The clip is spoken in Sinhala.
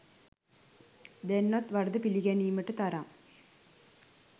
දැන්වත් වරද පිළිගැනීමට තරම්